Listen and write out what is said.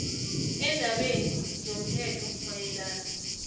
eendabeni zomthetho mayelana